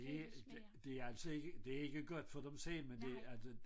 Det det det altså ikke det ikke godt for dem selv men det altså